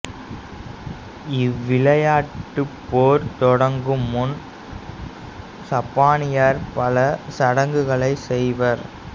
இவ்விளையாட்டுப் போர் தொடங்கும் முன் சப்பானியர் பல சடங்குகளைச் செய்வர்